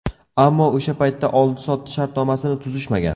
Ammo o‘sha paytda oldi-sotdi shartnomasini tuzishmagan.